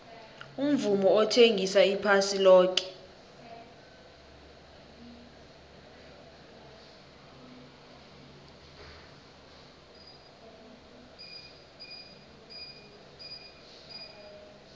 umvumo uthengisa iphasi loke